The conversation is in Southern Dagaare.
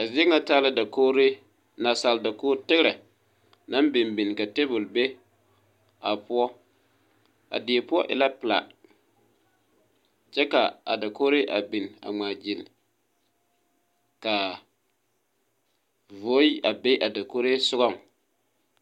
A zie ŋa taa la dakogre naasaal dakoge tigrɛ naŋ bin bin ka tabol be a poɔ die poɔ e la pilaa kyɛ ka dakogre a bin a ngmaa gyille kaa voe a be a dakogro sugɔŋ.